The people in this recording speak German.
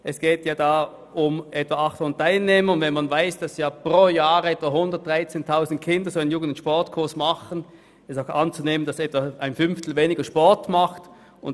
Es geht hier um etwa 800 Teilnehmer, und wenn man weiss, dass jährlich etwa 113 000 Kinder J+S-Kurse besuchen, ist auch anzunehmen, dass mit der Sparmassnahme von diesen Kindern etwa ein Fünftel weniger Sport treiben wird.